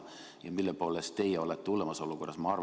Ja mille poolest teie olete hullemas olukorras?